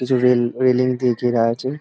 কিছুদিন রেলিং দিয়ে ঘের আছে।